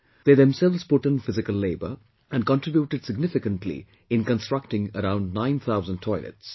They themselves put in physical labour and contributed significantly in constructing around 9000 toilets